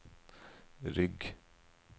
rygg